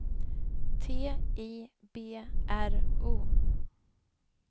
T I B R O